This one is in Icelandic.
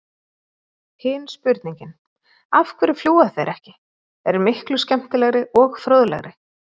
Hin spurningin, af hverju fljúga þeir ekki, er miklu skemmtilegri og fróðlegri!